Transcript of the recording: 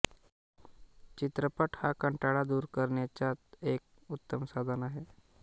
चित्रपट हा कंटाळा दूर करण्याच एक उत्तम साधन आहे